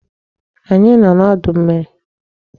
Anyị nọ n'udu mmiri.